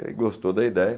Ele gostou da ideia.